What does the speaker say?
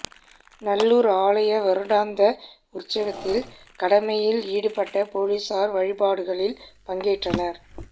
நல்லூர் ஆலய வருடாந்த உற்சவத்தில் கடமையில் ஈடுபட்ட பொலிஸார் வழிபாடுகளில் பங்கேற்றனர்